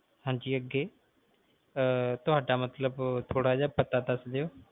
ਹਾਂਜੀ ਅੱਗੇ ਤੁਹਾਡਾ ਮਤਲਬ ਥੋੜਾ ਜੇਹਾ ਪਤਾ ਦੱਸ ਦਿਓ